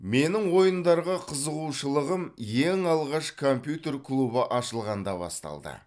менің ойындарға қызығушылығым ең алғаш компьютер клубы ашылғанда басталды